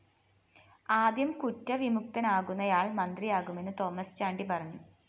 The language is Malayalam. ആദ്യം കുറ്റവിമുക്തനാകുന്നയാള്‍ മന്ത്രിയാകുമെന്നും തോമസ് ചാണ്ടി പറഞ്ഞു